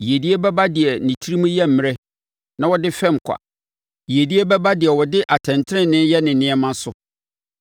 Yiedie bɛba deɛ ne tirim yɛ mmrɛ na ɔde fɛm kwa. Yiedie bɛba deɛ ɔde atɛntenenee yɛ ne nneɛma so.